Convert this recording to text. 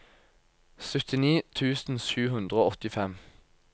syttini tusen sju hundre og åttifem